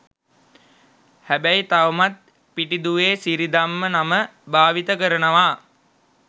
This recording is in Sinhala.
හැබැයි තවමත් පිටිදුවේ සිිරිධම්ම නම භාවිත කරනවා.